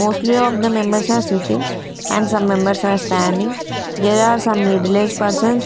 mostly of the members are sitting and some members are standing there are some middle age persons.